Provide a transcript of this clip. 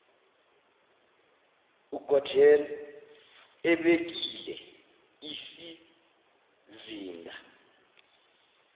ugordhan ebekile isizinda